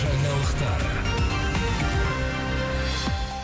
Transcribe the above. жаңалықтар